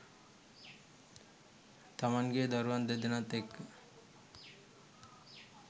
තමන්ගේ දරුවන් දෙදෙනත් එක්ක